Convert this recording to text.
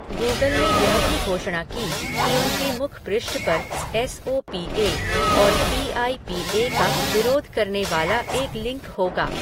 Google ने यह भी घोषणा की कि उनके मुखपृष्ठ पर एस ओ पी ए और पी आई पी ए का विरोध करने वाला एक लिंक होगा।